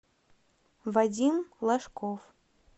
вадим лошков